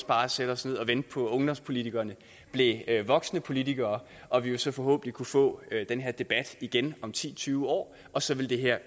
bare sætte os ned og vente på at ungdomspolitikerne blev voksne politikere og at vi så forhåbentlig kunne få den her debat igen om ti til tyve år og så ville det her